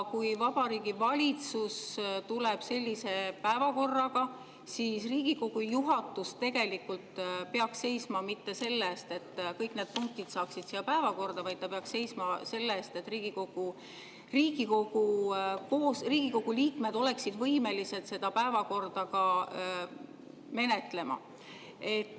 Kui Vabariigi Valitsus tuleb sellise päevakorraga, siis Riigikogu juhatus tegelikult ei peaks seisma mitte selle eest, et kõik need punktid saaksid siia päevakorda, vaid ta peaks seisma selle eest, et Riigikogu liikmed oleksid võimelised seda päevakorda ka menetlema.